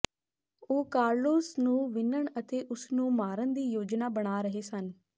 ਉਹ ਕਾਰਲੋਸ ਨੂੰ ਵਿੰਨ੍ਹਣ ਅਤੇ ਉਸ ਨੂੰ ਮਾਰਨ ਦੀ ਯੋਜਨਾ ਬਣਾ ਰਹੇ ਸਨ